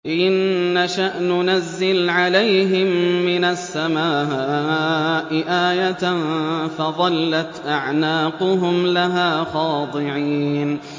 إِن نَّشَأْ نُنَزِّلْ عَلَيْهِم مِّنَ السَّمَاءِ آيَةً فَظَلَّتْ أَعْنَاقُهُمْ لَهَا خَاضِعِينَ